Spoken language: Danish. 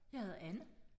Jeg hedder Anne